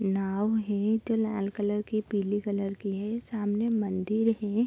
नाव है लाल कलर की पीली कलर की है सामने मंदिर है।